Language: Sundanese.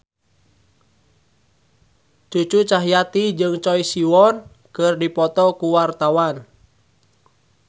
Cucu Cahyati jeung Choi Siwon keur dipoto ku wartawan